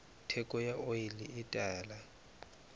theko ya oli e tala